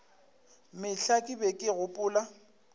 mehla ke be ke gopola